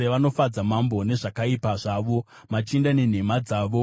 “Vanofadza mambo nezvakaipa zvavo, machinda nenhema dzavo.